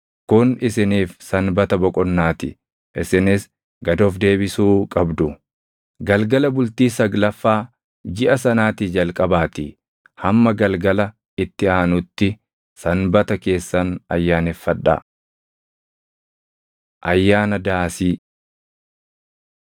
Kun isiniif sanbata boqonnaa ti; isinis gad of deebisuu qabdu. Galgala bultii saglaffaa jiʼa sanaatii jalqabaatii hamma galgala itti aanutti sanbata keessan ayyaaneffadhaa.” Ayyaana Daasii 23:33‑43 kwf – Lak 29:12‑39; KeD 16:13‑17